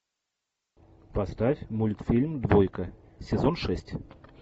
поставь мультфильм двойка сезон шесть